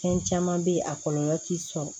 Fɛn caman bɛ yen a kɔlɔlɔ ti sɔn